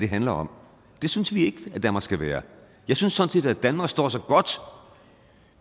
handler om det synes vi ikke at danmark skal være jeg synes sådan set at danmark står sig godt